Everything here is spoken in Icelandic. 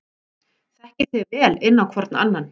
Þekkið þið vel inn á hvorn annan?